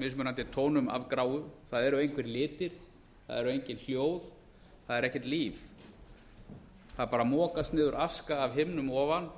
mismunandi tónum af gráu það eru engir litir það er enginn sjór það er ekkert líf það bara mokast niður aska af himnum ofan